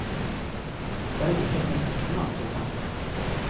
Selv ikke hennes ektemann tror henne.